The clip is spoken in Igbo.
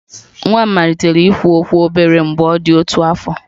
Nwa m malitere ikwu okwu obere mgbe ọ dị otu afọ